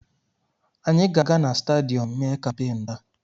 Anyị ga-aga na stadiyọm mee kampeenụ́ taa.